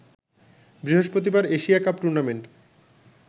বৃহস্পতিবার Asia cup tournament